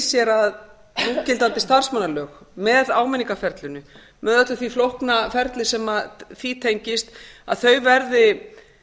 sér að núgildandi starfsmannalög með áminningarferlinu með öllu því flókna ferli sem því tengist að þau verði